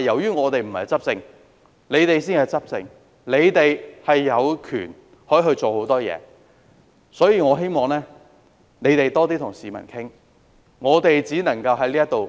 由於我們不是執政者，他們才是執政者，有權做很多事情，我希望他們多些與市民溝通，我們只能夠